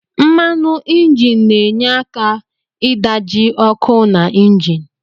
Mmanu injin na enye aka idaji okụ na injin.